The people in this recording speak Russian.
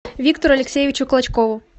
виктору алексеевичу клочкову